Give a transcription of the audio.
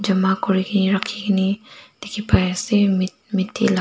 jama kurikene rakhikaene dikhipaiase me meti la--